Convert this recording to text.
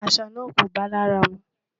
Aṣọ̀ náà kò báa làrà mú.